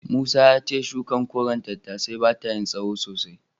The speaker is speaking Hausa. Musa ya ce shukar koren tattasai bata yin tsahon sosai.